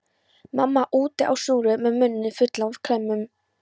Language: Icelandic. Mamma úti á snúru með munninn fullan af klemmum.